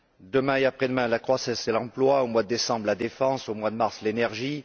Demain et après demain, la croissance et l'emploi, au mois de décembre la défense, au mois de mars l'énergie.